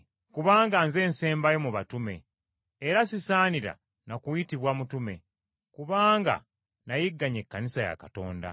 Kubanga nze nsembayo mu batume, Era sisaanira na kuyitibwa mutume, kubanga nayigganya Ekkanisa ya Katonda.